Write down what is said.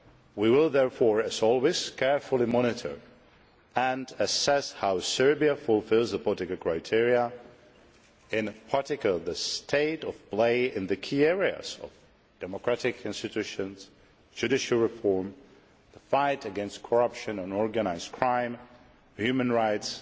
We will therefore, as always, carefully monitor and assess how Serbia fulfils the particular criteria, in particular the state of play in the key areas of democratic institutions, judicial reform, the fight against corruption and organised crime, human rights